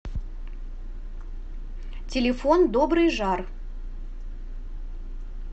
телефон добрый жар